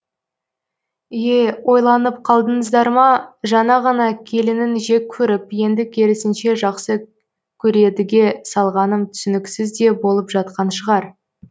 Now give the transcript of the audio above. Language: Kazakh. е ойланып қалдыңыздар ма жаңа ғана келінін жек көріп енді керісінше жақсы көредіге салғаным түсініксіз де болып жатқан шығар